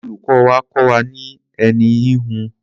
Olùkọ́ wa kọ́ wa ní ẹní híhun.